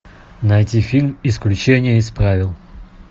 найти фильм исключение из правил